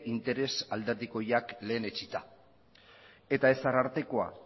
interes alderdi horiek lehen etsita eta ez arartekoa